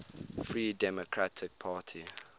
free democratic party